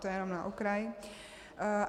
To jenom na okraj.